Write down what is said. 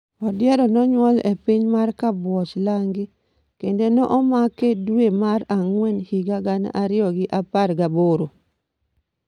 Odiero nonyuol e piny mar Kabuoch Langi, kendo ne omak e dwe mar ang'wen higa gana ariyo gi apar gaboro.